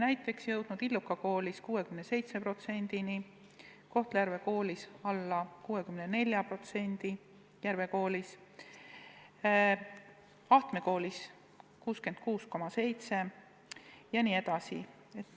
Näiteks Illuka Koolis on see näitaja 67%, Kohtla-Järve Järve Koolis veidi alla 64%, Ahtme Koolis 66,7% jne.